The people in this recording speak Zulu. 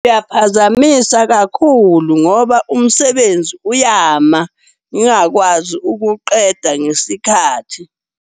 Kuyaphazamisa kakhulu ngoba umsebenzi uyama ngingakwazi ukuqeda ngesikhathi.